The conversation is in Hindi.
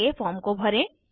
आगे फॉर्म को भरें